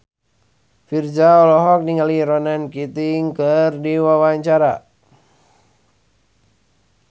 Virzha olohok ningali Ronan Keating keur diwawancara